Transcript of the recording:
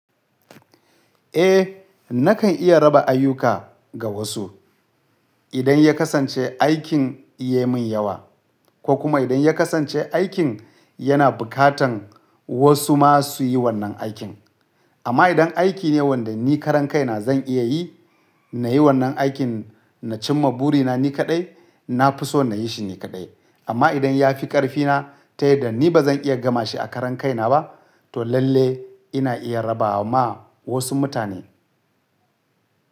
Eh nakan iya raba ayuka ga wasu idan ya kasance aikin yayi min yawa ko kuma idan ya kasance aikin yana bukatan wasu ma suyi wannan aikin. Amma idan aiki ne wanda ni karan kaina zan iya yi, na yi wannan aikin na cimma buri na ni kaɗai, na fi so na yi shi ni kaɗai. Amma idan ya fi ƙarfina ta yadda ni ba zan iya gama shi a karan kaina ba, to lalle ina iya raba ma wasu mutane.